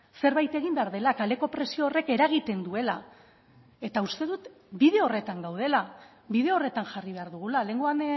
zerbait egin behar dela kaleko presio horrek eragiten duela eta uste dut bide horretan gaudela bide horretan jarri behar dugula lehengoan